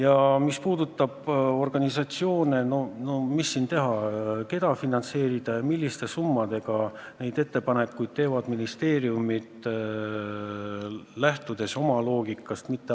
Aga mis puudutab organisatsioone ja küsimust, keda finantseerida ja milliste summadega, siis neid ettepanekuid teevad ministeeriumid, lähtudes oma loogikast.